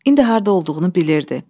İndi harda olduğunu bilirdi.